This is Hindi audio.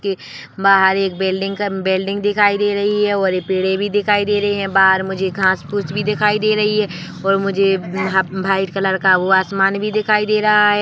--बाहर एक बिल्डिंग क बिल्डिंग दिखाई दे रही है और पेड़े भी दिखाई दे रहे है बाहर मुझे घास-फुस भी दिखाई दे रही है और मुझे वाइट कलर का आसमान भी दिखाई दे रहा है।